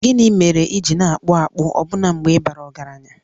Gịnị mere i ji na-akpụ akpụ ọbụna mgbe ị bara ọgaranya?